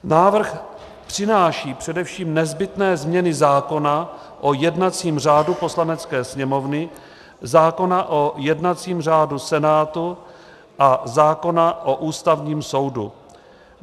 Návrh přináší především nezbytné změny zákona o jednacím řádu Poslanecké sněmovny, zákona o jednacím řádu Senátu a zákona o Ústavním soudu.